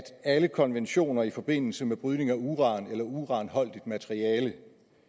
alle konventioner i forbindelse med brydning af uran eller uranholdigt materiale